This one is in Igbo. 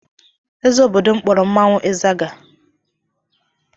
Eze obodo kpọrọ mmanwụ ịzaga.